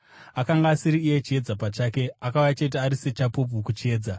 Akanga asiri iye chiedza pachake; akauya chete ari sechapupu kuchiedza.